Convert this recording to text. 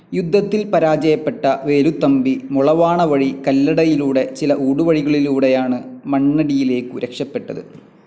യുദ്ധത്തിൽ പരാജയപ്പെട്ട വേലുത്തമ്പി മുളവാണ വഴി കല്ലടയിലൂടെ ചില ഊടുവഴികളിലൂടെയാണ് മണ്ണടിയിലേക്കു രക്ഷപെട്ടത്.